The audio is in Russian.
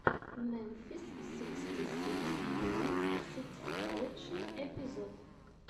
мемфис сиксти сикс поинт сикс лучший эпизод